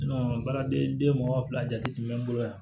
baaraden mɔgɔ fila jati bɛ n bolo yan